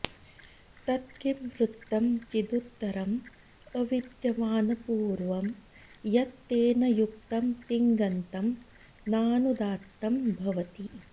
तत् किंवृत्तं चिदुत्तरम् अविद्यमानपूर्वं यत् तेन युक्तं तिङन्तं नानुदात्तम् भवति